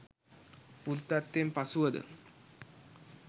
බුද්ධත්වයෙන් පසුවද